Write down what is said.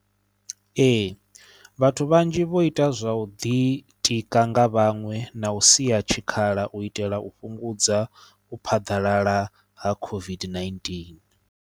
Ee vhathu vhanzhi vho ita zwa u ḓitika nga vhaṅwe na u sia tshikhala u itela u fhungudza u phaḓalala ha COVID-19.